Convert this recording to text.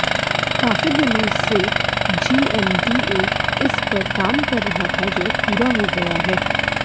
काफी दिनों से जीएमडीए इस पर काम रहा था जो अब पूरा हो गया है